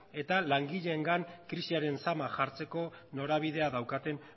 eta langileengan krisiaren sama jartzeko norabidea daukate